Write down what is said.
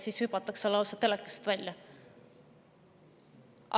Siis hüpatakse lausa telekast välja.